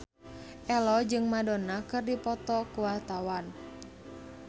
Ello jeung Madonna keur dipoto ku wartawan